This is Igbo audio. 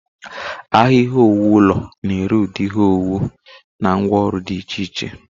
Ahịa ihe owuwu ụlọ na-ere ụdị ihe owuwu na ngwá ọrụ dị iche iche.